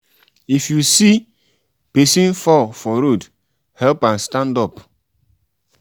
if you see um pesin fall for road help am stand up.